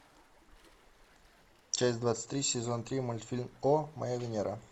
часть двадцать три сезон три мультфильм о моя венера